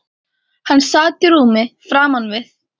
Hann sat í rúmi framan við